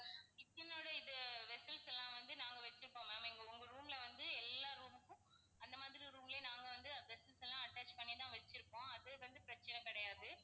kitchen ஓட இது vessels எல்லாம் வந்து நாங்க வச்சிருப்போம் ma'am எங்~உங்க room ல வந்து எல்லா room க்கும் அந்த மாதிரி room லயே நாங்க வந்து vessels எல்லாம் attach பண்ணிதான் வச்சிருப்போம். அது வந்து பிரச்சினை கிடையாது.